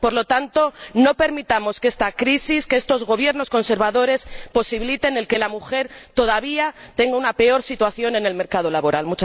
Por lo tanto, no permitamos que esta crisis, que estos gobiernos conservadores, posibiliten que la mujer todavía tenga una peor situación en el mercado laboral.